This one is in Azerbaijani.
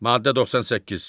Maddə 98.